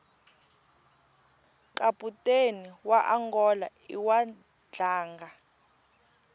kaputeni waangola iwadlanga